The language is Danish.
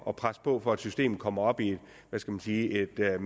at presse på for at systemet kommer op i i et hvad